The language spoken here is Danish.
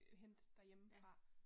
Øh hente derhjemmefra